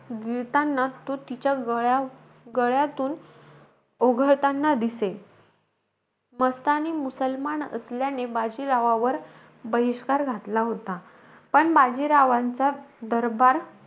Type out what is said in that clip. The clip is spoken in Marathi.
गिळताना तो तिच्या गळ्या गळ्यातून तो ओघळताना दिसे. मस्तानी मुसलमान असल्याने, बाजीरावावर बहिष्कार घातला होता. पण बाजीरावांचा दरबार,